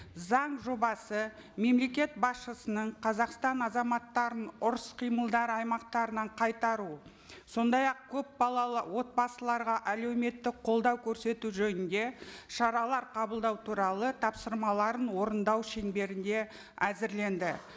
заң жобасы мемлекет басшысының қазақстан азаматтарын ұрыс қимылдар аймақтарынан қайтару сондай ақ көпбалалы отбасыларға әлеуметтік қолдау көрсету жөнінде шаралар қабылдау туралы тапсырмаларын орындау шеңберінде әзірленді